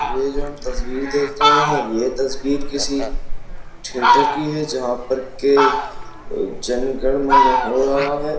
ये जो हम तस्वीर देख रहे हैं ये तस्वीर किसी थिएटर की हैं जहा पर ये जन गण मन् हो रहा हैं।